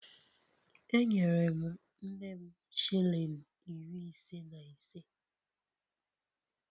Enyere m nne m shilling iri ise na ise